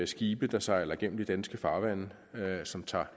skibe der sejler igennem de danske farvande som tager